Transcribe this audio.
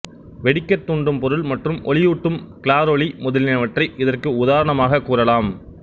வெடிக்கத் தூண்டும் பொருள் மற்றும் ஒளியூட்டும் கிளாரொளி முதலியனவற்றை இதற்கு உதாரணமாகக் கூறலாம்